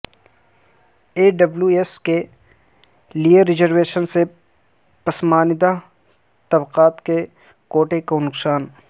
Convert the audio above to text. ای W S کے لئے reservation سے پسماندہ طبقات کے کوٹے کو نقصان